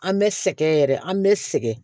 An bɛ sɛgɛn yɛrɛ an bɛ sɛgɛn